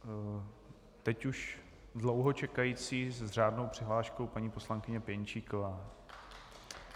Teď už dlouho čekající s řádnou přihláškou paní poslankyně Pěnčíková.